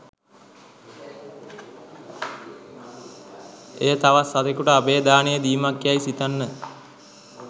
එය තවත් සතකුට අභය දානය දීමක් යයි සිතන්න.